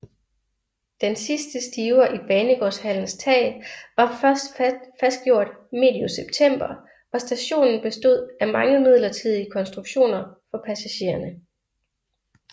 Den sidste stiver i banegårdshallens tag var først fastgjort medio september og stationen bestod af mange midlertidige konstruktioner for passagererne